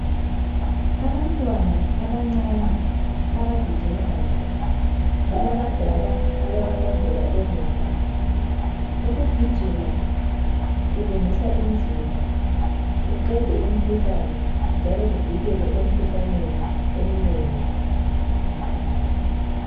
Abantwana abancane abagijimayo, balabadala ababalandela emuva. Ukugijima kulungisa imizimba, kuqede imikhuhlane njalo kuvikele emkhuhlaneni eminengi.